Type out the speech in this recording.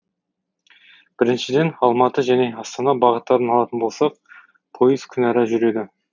біріншіден алматы және астана бағыттарын алатын болсақ пойыз күнәра жүреді